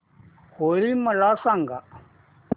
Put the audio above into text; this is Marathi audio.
होळी मला सांगा